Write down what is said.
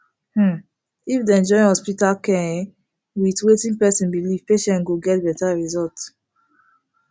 umm if dem join hospital care en with watin person belief patient go get better result